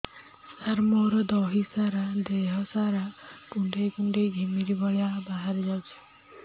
ସାର ମୋର ଦିହ ସାରା କୁଣ୍ଡେଇ କୁଣ୍ଡେଇ ଘିମିରି ଭଳିଆ ବାହାରି ଯାଉଛି